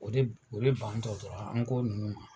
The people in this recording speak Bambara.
O de o de bantɔ dɔrɔn an ko nunnu ma